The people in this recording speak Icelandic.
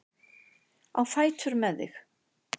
Á fætur með þig!